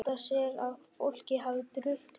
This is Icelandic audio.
Óttast er að fólkið hafi drukknað